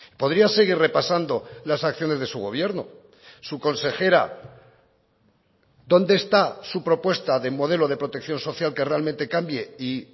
podría seguir repasando las acciones de su gobierno su consejera dónde está su propuesta de modelo de protección social que realmente cambie y